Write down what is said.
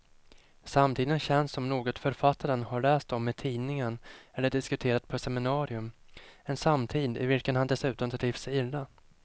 Samtiden känns som något författaren har läst om i tidningen eller diskuterat på ett seminarium, en samtid i vilken han dessutom trivs illa.